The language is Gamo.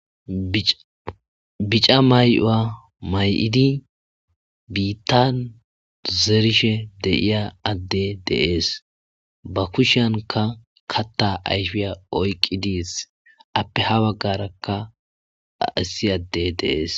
Bic'a may'uwa may'idi bitan zerishe de'iya ade de'es ba kushiyankka katha ayfiya oyqides ape ha bagaraka issi adey de'es.